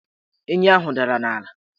Enyi ahụ dara n' ala